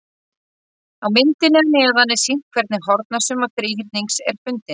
Á myndinni að neðan er sýnt hvernig hornasumma þríhyrnings er fundin.